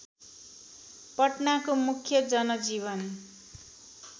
पटनाको मुख्य जनजीवन